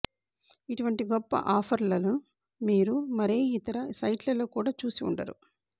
ఇటువంటి గొప్ప ఆఫర్లను మీరు మరే ఇతర సైట్ లలో కూడా చూసి ఉండరు